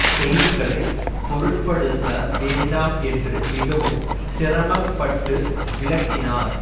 செய்திகளை பொருட்படுத்த வேண்டாம் என்று மிகவும் சிரம்ப்பட்டு விளக்கினார்